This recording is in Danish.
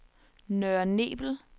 Nørre Nebel